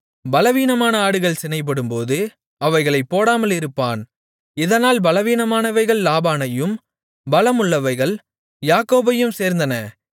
பலவீனமான ஆடுகள் சினைப்படும்போது அவைகளைப் போடாமலிருப்பான் இதனால் பலவீனமானவைகள் லாபானையும் பலமுள்ளவைகள் யாக்கோபையும் சேர்ந்தன